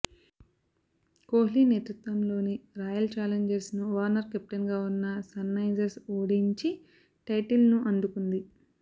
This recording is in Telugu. కోహ్లీ నేతృత్వంలోని రాయల్ చాలెంజర్స్ను వార్నర్ కెప్టెన్గా ఉన్న సన్రైజర్స్ ఓడించి టైటిల్ను అందుకుంది